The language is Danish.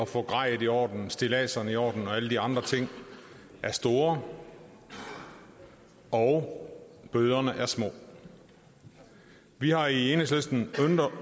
få grejet i orden stilladserne i orden og alle de andre ting er store og bøderne er små vi har i enhedslisten